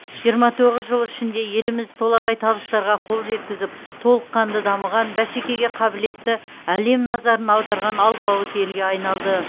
жиырма тоғыз жыл ішінде еліміз толағай табыстарға қол жеткізіп толыққанды дамыған бәсекеге қабілетті әлем назарын аударған алпауыт елге айналды